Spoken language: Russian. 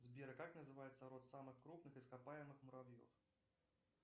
сбер как называется род самых крупных ископаемых муравьев